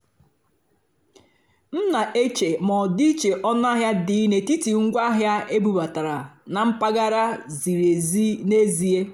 m nà-èché mà ọ́dị́íché ónúàhịá dì n'étìtì ngwá àhịá ébúbátàrá nà mpàgàrà zìrí ézí n'èzíé.